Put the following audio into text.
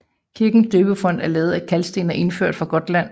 Kirkens døbefont er lavet af kalksten og indført fra Gotland